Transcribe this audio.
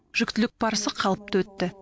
жүктілік барысы қалыпты өтті